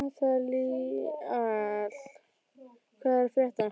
Nataníel, hvað er að frétta?